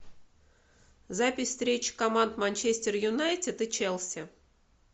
запись встречи команд манчестер юнайтед и челси